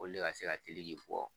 Olu le ka se ka fɔ